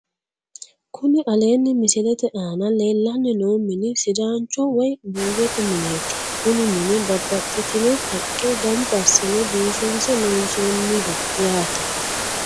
Kuni aleenni misilete aana leellanni noo mini sidaancho woyi buuyyote mineeti kuni mini babbaxxitino haqqe gamba assine biifinse loonsoonniho yaate